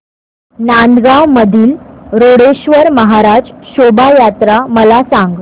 नांदगाव मधील रोकडेश्वर महाराज शोभा यात्रा मला सांग